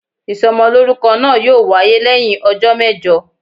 isómolorúkó naa yọọ wayé leyin òjó mejò.